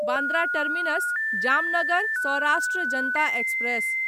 Bandra terminus Jamnagar Saurashtra Janata express